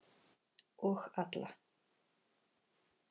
Og alla.